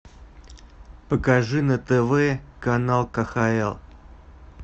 покажи на тв канал кхл